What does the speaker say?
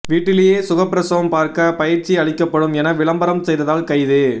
வீட்டிலேயே சுகப்பிரசவம் பார்க்க பயிற்சி அளிக்கப்படும் என விளம்பரம் செய்ததால் கைது